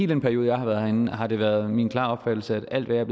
den periode jeg har været herinde har det været min klare opfattelse at alt hvad jeg